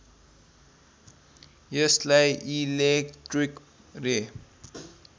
यसलाई इलेक्ट्रिक रे